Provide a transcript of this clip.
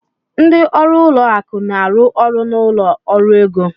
Ndị ọrụ ụlọ akụ na-arụ ọrụ na ụlọ ọrụ ego